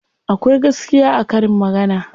Akwai gaskiya a karin magana.